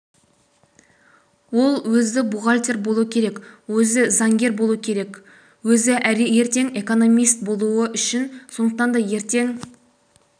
ол өзі бухгалтер болу керек өзі заңгер болу керек өзі ертең экономист болу керек сондықтан ертең